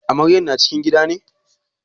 Amaryar na cikin gida ne?